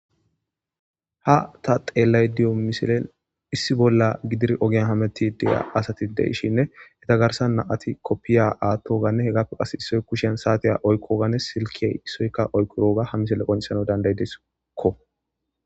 Ha ta xeelay diyo misile issi bolla gidir ogiyan hameti deya asati de ishinne heta garsan na7ati koppiya aatto ganne he gappe qas issoy kushiyan saatiya oykkoganne silkiyey issoykka oykkoroga ha misile qoncesano danday desikko.